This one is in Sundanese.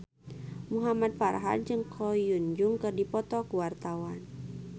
Muhamad Farhan jeung Ko Hyun Jung keur dipoto ku wartawan